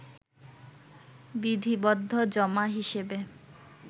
বিধিবদ্ধ জমা হিসেবে